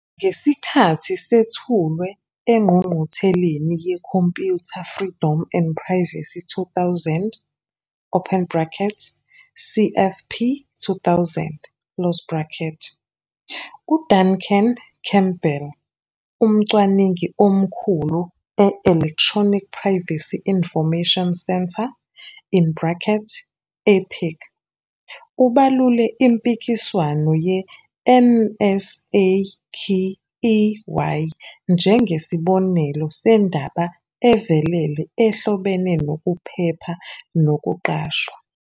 Ngesikhathi sethulwa engqungqutheleni yeComputer, Freedom and Privacy 2000, open bracket, CFP2000, close bracket, uDuncan Campbell, umcwaningi omkhulu e-Electronic Privacy Information Center, in brackets, EPIC, ubalule impikiswano ye-NSAKEY njengesibonelo sendaba evelele ehlobene nokuphepha nokuqashwa.